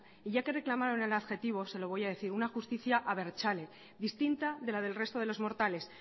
y ya que reclamaron el adjetivo se lo voy a decir una justicia abertzale distinta de la del resto de los mortales